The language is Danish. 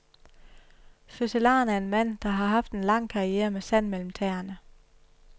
Fødselaren er en mand, der har haft en lang karriere med sand mellem tæerne.